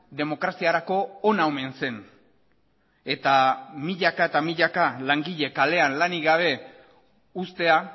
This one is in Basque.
demokraziarako ona omen zen eta milaka eta milaka langile kalean lanik gabe uztea